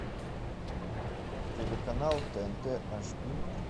телеканал тнт аш ди